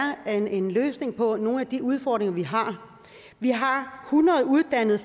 en løsning på nogle af de udfordringer vi har vi har hundrede uddannede